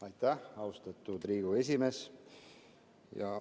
Aitäh, austatud Riigikogu esimees!